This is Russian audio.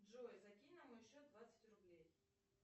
джой закинь на мой счет двадцать рублей